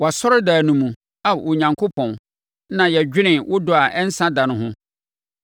Wʼasɔredan no mu, Ao Onyankopɔn, na yɛdwene wo dɔ a ɛnsa da no ho,